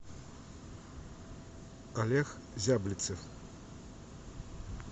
олег зяблицев